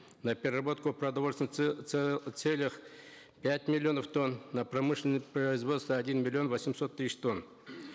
на переработку в продовольственных целях пять миллионов тонн на промышленное производство один миллион восемьсот тысяч тонн